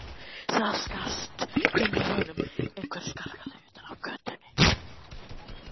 Það skarst inn úr honum einhver skarkali utan af götunni.